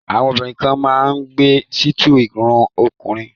Àwọn obìnrin kan máa ń gẹ sítáì irun ọkùnrin.